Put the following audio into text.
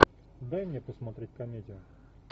дай мне посмотреть комедию